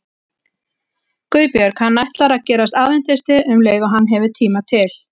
GUÐBJÖRG: Hann ætlar að gerast aðventisti um leið og hann hefur tíma til.